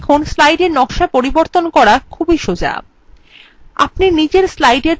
দেখুন কত সোজা স্লাইডের নকশা পরিবর্তন করা !!